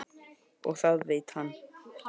Og það veit hann.